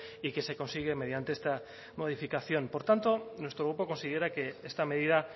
y que se consigue mediante esta modificación por tanto nuestro grupo considera que esta medida